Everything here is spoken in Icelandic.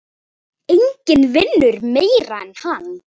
Enginn vinnur meira en hann.